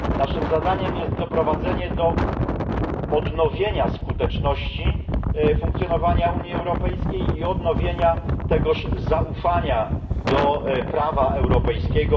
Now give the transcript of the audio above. Naszym zadaniem jest doprowadzenie do odnowienia skuteczności funkcjonowania Unii Europejskiej i odbudowania tegoż zaufania do prawa europejskiego